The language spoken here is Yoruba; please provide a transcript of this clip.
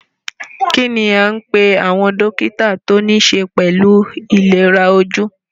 Kínní a ń pé àwọn dókítà tí o níṣe pẹlú ìlera ojú?